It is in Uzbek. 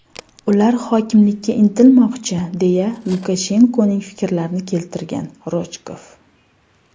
Ular hokimlikka intilmoqchi”, deya Lukashenkoning fikrlarini keltirgan Rojkov.